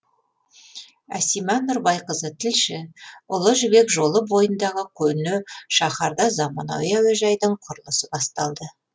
асима нұрбайқызы тілші ұлы жібек жолы бойындағы көне шаһарда заманауи әуежайдың құрылысы басталды